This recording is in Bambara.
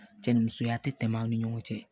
Cɛ ni musoya tɛ tɛmɛ an ni ɲɔgɔn cɛ